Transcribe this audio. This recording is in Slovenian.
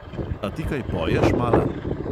A ti kaj poješ, mala?